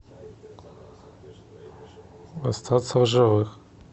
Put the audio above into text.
остаться в живых